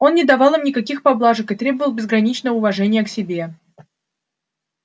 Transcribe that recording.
он не давал им никаких поблажек и требовал безграничного уважения к себе